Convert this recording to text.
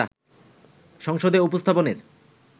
সংসদে উপস্থাপনের